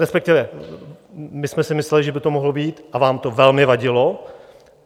Respektive my jsme si mysleli, že by to mohlo vyjít, a vám to velmi vadilo.